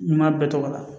N m'a bɛɛ tɔgɔ la